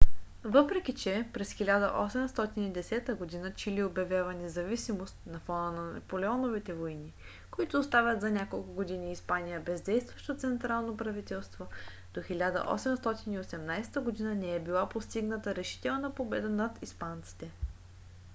въпреки че през 1810 г. чили обявява независимост на фона на наполеоновите войни които оставят за няколко години испания без действащо централно правителство до 1818 г. не е била постигната решителна победа над испанците